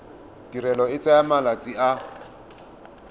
tirelo e tsaya malatsi a